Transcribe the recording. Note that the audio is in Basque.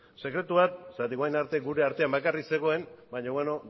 sekretu bat zeren orain arte gure artean bakarrik zegoen baina beno